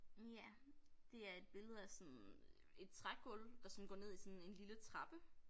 Ja det er et billede af sådan et trægulv der sådan går ned i sådan en lille trappe